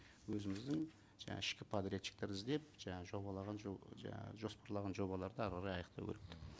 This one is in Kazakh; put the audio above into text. өзіміздің жаңа ішкі подрядчиктар іздеп жаңа жобалаған жаңағы жоспарлаған жобаларды әрі қарай аяқтау керек деп